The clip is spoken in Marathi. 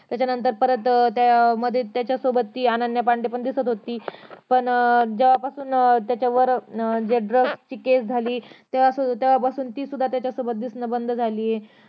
त्याच्या नंतर परतत्या मध्ये अं ती अनन्या पांडे दिसत होती पण अं जेव्हा पासून अं त्याच्यावर जे ड्रग्स ची केस झाली तेव्हा पासून ती त्याच्या सोबत दिसनं बंद झालं आहे